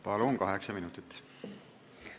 Palun, kaheksa minutit!